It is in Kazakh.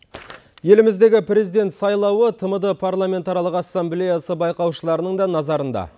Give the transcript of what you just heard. еліміздегі президент сайлауы тмд парламентаралық ассамблеясы байқаушыларының да назарында